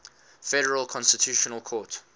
federal constitutional court